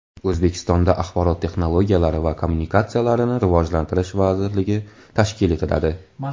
O‘zbekistonda Axborot texnologiyalari va kommunikatsiyalarini rivojlantirish vazirligi tashkil etiladi.